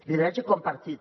lideratge compartit